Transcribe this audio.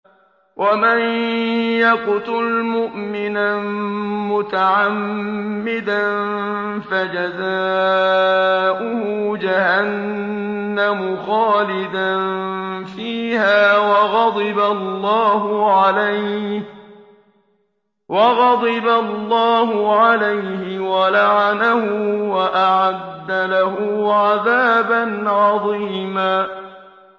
وَمَن يَقْتُلْ مُؤْمِنًا مُّتَعَمِّدًا فَجَزَاؤُهُ جَهَنَّمُ خَالِدًا فِيهَا وَغَضِبَ اللَّهُ عَلَيْهِ وَلَعَنَهُ وَأَعَدَّ لَهُ عَذَابًا عَظِيمًا